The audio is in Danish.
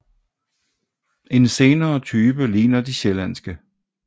En senere type ligner de sjællandske